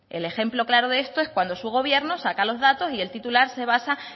el ejemplo claro de esto es cuando su gobierno saca los datos y el titular se basa